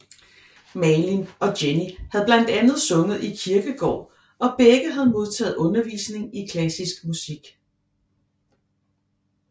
Malin og Jenny havde blandt andet sunget i kirkekor og begge havde modtaget undervisning i klassisk musik